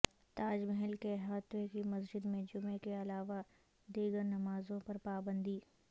تاج محل کے احاطے کی مسجد میں جمعہ کے علاوہ دیگرنمازوں پر پابندی